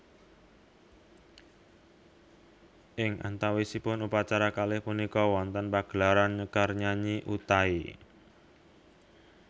Ing antawisipun upacara kalih punika wonten pagelaran nyekar nyanyi Utai